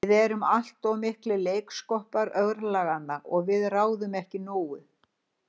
Við erum allt of miklir leiksoppar örlaganna og við ráðum ekki nógu.